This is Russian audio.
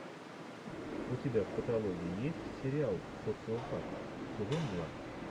у тебя в каталоге есть сериал социопат сезон два